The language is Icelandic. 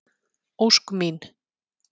Ósk mín.